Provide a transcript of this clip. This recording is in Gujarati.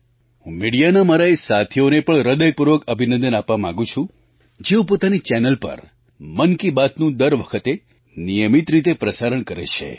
હું મિડિયાના મારા એ સાથીઓને પણ હૃદયપૂર્વક અભિનંદન આપવા માગું છું જેઓ પોતાની ચેનલો પર મન કી બાતનું દર વખતે નિયમિત રીતે પ્રસારણ કરે છે